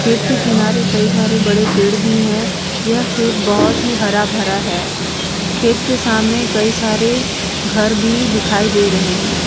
खेत की किनारे कई सारे बड़े पेड़ भी हैं। यह खेत बहोत